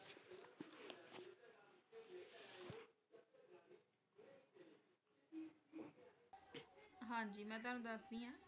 ਹਾਂਜੀ ਮੈਂ ਤੁਹਾਨੂੰ ਦੱਸਦੀ ਹਾਂ।